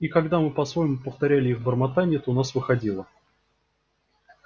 и когда мы по-своему повторяли их бормотанье то у нас выходило